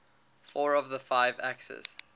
four of the five axis